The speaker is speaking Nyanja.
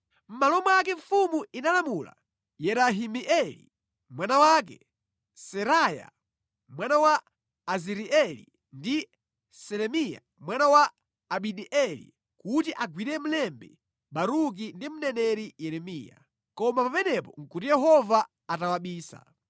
Mʼmalo mwake, mfumu inalamula Yerahimeeli mwana wake, Seraya mwana wa Azirieli ndi Selemiya mwana wa Abideeli kuti agwire mlembi Baruki ndi mneneri Yeremiya. Koma pamenepo nʼkuti Yehova atawabisa.